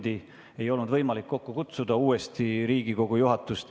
Meil ei olnud enam võimalik juhatust uuesti kokku kutsuda.